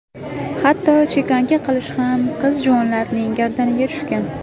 Hatto chekanka qilish ham qiz-juvonlarning gardaniga tushgan.